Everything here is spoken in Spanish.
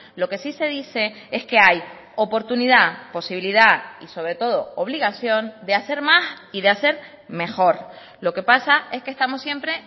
lo que sí se dice es que hay oportunidad posibilidad y sobre todo obligación de hacer más y de hacer mejor lo que pasa es que estamos siempre